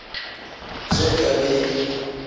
ge nka be e le